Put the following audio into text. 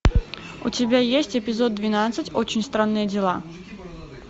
у тебя есть эпизод двенадцать очень странные дела